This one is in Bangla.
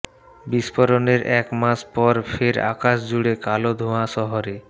বিস্ফোরণের এক মাস পর ফের আকাশ জুড়ে কালো ধোঁয়া শহরে